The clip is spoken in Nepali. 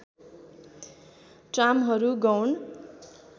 ट्रामहरू गौण